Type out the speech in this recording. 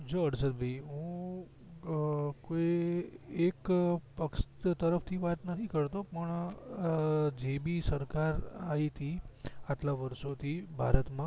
જો હર્ષદ ભાઈ હું અં કોઈ એક પક્ષ તરફ ની વાત નથી કરતો પણ જે બી સરકાર આયતી આટલા વર્ષો થી ભારત માં